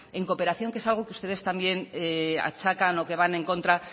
en cooperación que es algo que ustedes también achacan o que van en contra